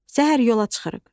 Səhər yola çıxırıq.